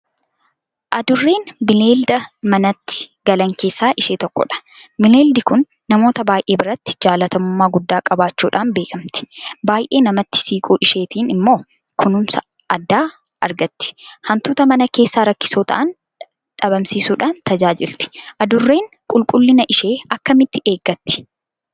Adurreen bineelda manatti galan keessaa ishee tokkodha. Bineeldi kun namoota baay'ee biratti jaalatamummaa guddaa qabaachuudhaan beekamti. Baay'ee namatti siquu isheetiin immoo kunuunsa addaa argatti. Hantuuta mana keessaa rakkisoo ta'an dhabamsiisuudhaan tajaajilti. Adurreen qulqullina ishee akkamitti eeggatti?